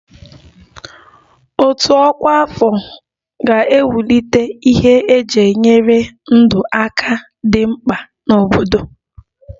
Òtù ọkwa afọ ga-ewulite ihe eji enyere ndụ aka dị mkpa n'obodo